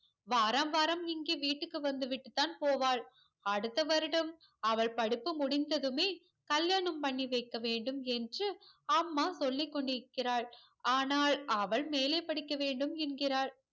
வாரம் வாரம் இங்கே விட்டுக்கு வந்துவிட்டு தான் போவாள் அடுத்த வருடம் அவள் படிப்பு முடிந்ததுமே கல்யாணம் பண்ணி வைக்க வேண்டும் என்று அம்மா சொல்லிக்கொண்டு இருக்கிறாள் ஆனால் அவள் மேலே படிக்க வேண்டும் என்கிறாள்